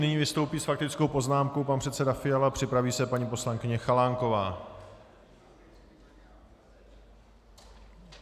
Nyní vystoupí s faktickou poznámkou pan předseda Fiala, připraví se paní poslankyně Chalánková.